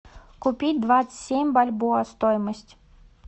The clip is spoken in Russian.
купить двадцать семь бальбоа стоимость